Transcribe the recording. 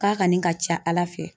K'a kanni ka ca Ala fɛ